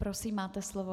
Prosím, máte slovo.